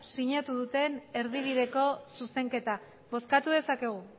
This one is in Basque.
sinatu duten erdibideko zuzenketa bozkatu dezakegu